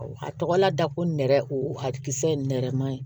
A tɔgɔlada ko nɛrɛ o hakilis ye nɛrɛmuguma ye